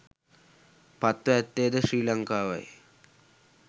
පත්ව ඇත්තේ ද ශ්‍රී ලංකාවයි